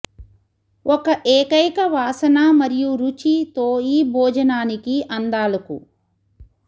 ఒక ఏకైక వాసన మరియు రుచి తో ఈ భోజనానికి అందాలకు